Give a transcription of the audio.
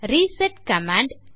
reset command